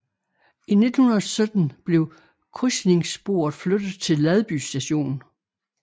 I 1917 blev krydsningssporet flyttet til Ladby Station